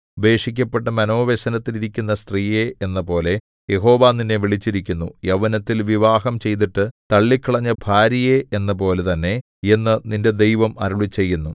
ഉപേക്ഷിക്കപ്പെട്ടു മനോവ്യസനത്തിൽ ഇരിക്കുന്ന സ്ത്രീയെ എന്നപോലെ യഹോവ നിന്നെ വിളിച്ചിരിക്കുന്നു യൗവനത്തിൽ വിവാഹം ചെയ്തിട്ട് തള്ളിക്കളഞ്ഞ ഭാര്യയെ എന്നപോലെ തന്നെ എന്നു നിന്റെ ദൈവം അരുളിച്ചെയ്യുന്നു